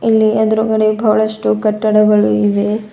ಇಲ್ಲಿ ಎದುರುಗಡೆ ಬಹಳಷ್ಟು ಕಟ್ಟಡಗಳು ಇವೆ.